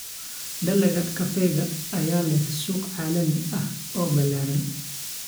Dalagga kafeega ayaa leh suuq caalami ah oo ballaaran.